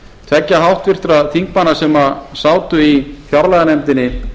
tveggja háttvirtra þingmanna sem sátu í fjárlaganefndinni